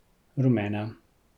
Rumena.